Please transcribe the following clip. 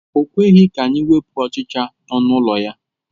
O kweghị ka anyị wepụ ọchịcha nọ n'ụlọ ya.